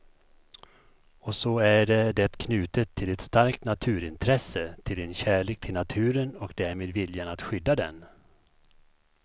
Och så är det knutet till ett starkt naturintresse, till en kärlek till naturen och därmed viljan att skydda den.